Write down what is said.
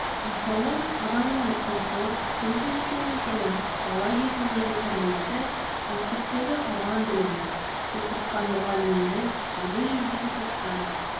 мысалы адамның ұлты туып-өскен мекені бала кезіндегі тәрбиесі мектептегі алған білімі оқытқан мұғалімдері бірге жүрген достары